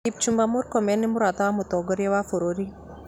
Kipchumba Murkomen nĩ mũrata wa mũtongoria wa bũrũri